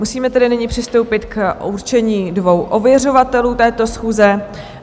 Musíme tedy nyní přistoupit k určení dvou ověřovatelů této schůze.